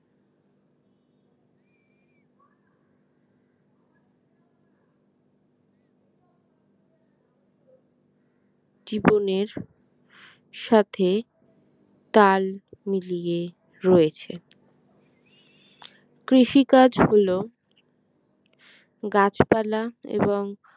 জীবনের সাথে তাল মিলিয়ে রয়েছে কৃষিকাজ হল গাছপালা এবং